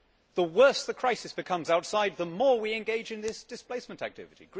The worse the crisis becomes outside, the more we engage in this displacement activity.